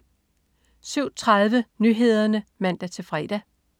07.30 Nyhederne (man-fre)